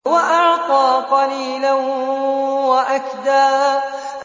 وَأَعْطَىٰ قَلِيلًا وَأَكْدَىٰ